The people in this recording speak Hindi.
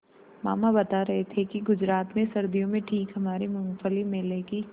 मामा बता रहे थे कि गुजरात में सर्दियों में ठीक हमारे मूँगफली मेले की